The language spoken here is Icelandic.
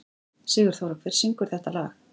Sigurþóra, hver syngur þetta lag?